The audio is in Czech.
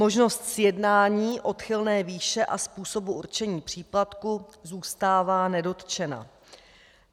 Možnost sjednání odchylné výše a způsobu určení příplatku zůstává nedotčena.